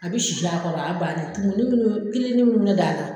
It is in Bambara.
A bɛ sisi a kɔrɔ o y'a bannen, kelen kelen